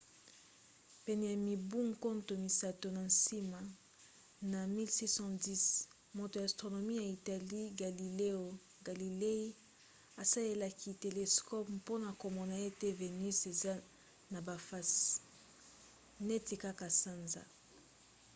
pene ya mibu nkoto misato na nsima na 1610 moto ya astronomie ya italie galileo galilei asalelaki telescope mpona komona ete venus eza na bafase neti kaka sanza